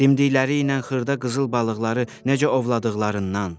Dimdikləri ilə xırda qızıl balıqları necə ovladıqlarından.